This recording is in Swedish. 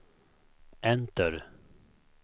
enter